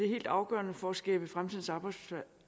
helt afgørende for at skabe fremtidens arbejdspladser